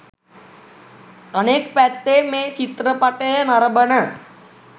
අනෙක් පැත්තෙන් මේ චිත්‍රපටය නරඹන